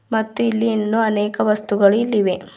ಮತ್ತು ಇಲ್ಲಿ ಇನ್ನೂ ಅನೇಕ ವಸ್ತುಗಳು ಇಲ್ಲಿವೆ.